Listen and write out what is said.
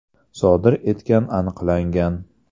sodir etgan aniqlangan.